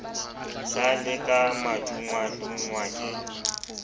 sa le ka madungwadungwa ke